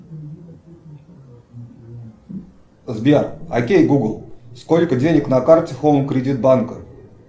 сбер окей гугл сколько денег на карте хоум кредит банк